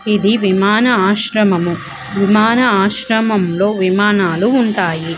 ఈ విమాన ఆశ్రయం విమాన ఆశ్రయం లోవిమాన లు ఉనాయ్ .